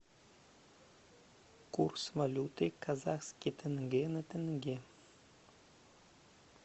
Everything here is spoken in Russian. курс валюты казахский тенге на тенге